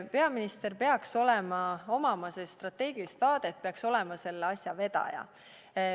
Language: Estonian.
Peaministril peaks olema strateegiline vaade, ta peaks olema selle asja vedaja.